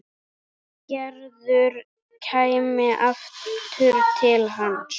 Gerður kæmi aftur til hans.